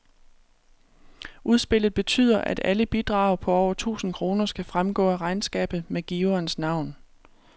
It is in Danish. Udspillet betyder, at alle bidrag på over tusind kroner skal fremgå af regnskabet med giverens navn.